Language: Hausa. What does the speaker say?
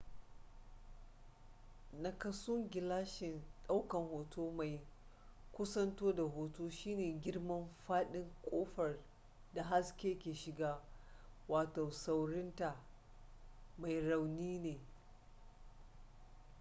nakasun gilashin daukan hoto mai kusanto da hoto shine girman fadin kofar da haske ke shiga saurinta mai rauni ne